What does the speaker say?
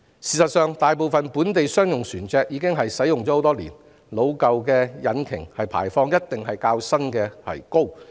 事實上，大部分本地商用船隻已使用多年，其老舊引擎的排放量肯定較新的為高。